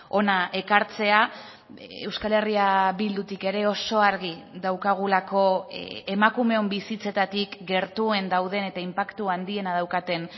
hona ekartzea euskal herria bildutik ere oso argi daukagulako emakumeon bizitzetatik gertuen dauden eta inpaktu handiena daukaten